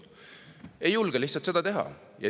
" Lihtsalt ei julgeta seda teha.